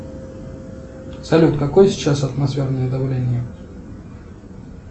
салют какое сейчас атмосферное давление